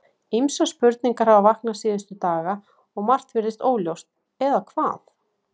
Ýmsar spurningar hafa vaknað síðustu daga og margt virðist óljóst, eða hvað?